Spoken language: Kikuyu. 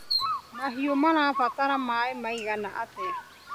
Mahiũ marabatara maĩ maigana atĩa.